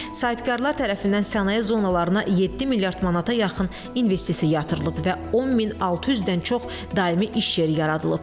Sahibkarlar tərəfindən sənaye zonalarına 7 milyard manata yaxın investisiya yatırılıb və 10600-dən çox daimi iş yeri yaradılıb.